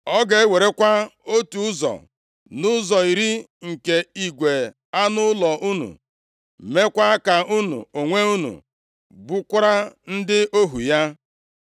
Ọ ga-ewerekwa otu ụzọ nʼụzọ iri nke igwe anụ ụlọ unu, meekwa ka unu onwe unu bụrụkwa ndị ohu ya.